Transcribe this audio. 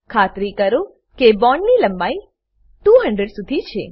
ખાતરી કરો કે બોન્ડ ની લંબાઈ 200 શુધી છે